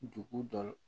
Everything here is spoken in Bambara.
Dugu dɔ la